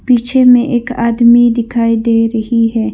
पीछे में एक आदमी दिखाई दे रही है।